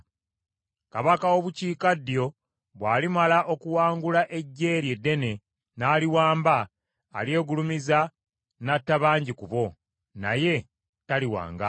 Kabaka w’obukiikaddyo bw’alimala okuwangula eggye eryo eddene, n’aliwamba, alyegulumiza n’atta bangi ku bo, naye taliwangaala.